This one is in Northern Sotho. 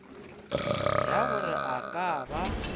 ya gore a ka ba